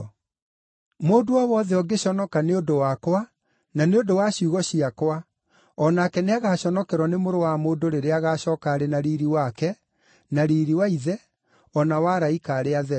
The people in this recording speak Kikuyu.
Mũndũ o wothe ũngĩconoka nĩ ũndũ wakwa na nĩ ũndũ wa ciugo ciakwa, o nake nĩagaconokerwo nĩ Mũrũ wa Mũndũ rĩrĩa agacooka arĩ na riiri wake, na riiri wa Ithe, o na wa araika arĩa atheru.